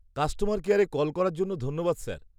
-Customer কেয়ারে call করার জন্য ধন্যবাদ স্যার।